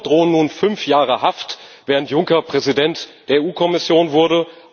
Deltour drohen nun fünf Jahre Haft, während Juncker Präsident der EU Kommission wurde.